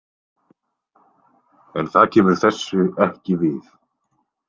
En það kemur þessu ekki við.